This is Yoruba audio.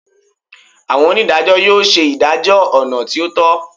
Awọn onidajọ yoo ṣe idajọ ọna ti o tọ